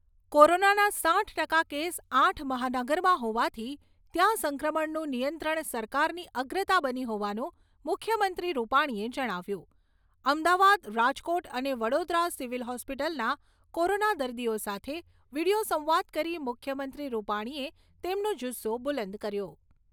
કોરોનાના સાઈઠ ટકા કેસ આઠ મહાનગરમાં હોવાથી ત્યાં સંક્રમણનું નિયંત્રણ સરકારની અગ્રતા બની હોવાનું મુખ્યમંત્રી રૂપાણીએ જણાવ્યું અમદાવાદ, રાજકોટ અને વડોદરા સિવિલ હોસ્પિટલના કોરોના દર્દીઓ સાથે વીડિયો સંવાદ કરી મુખ્યમંત્રી રૂપાણીએ તેમનો જુસ્સો બુલંદ કર્યો.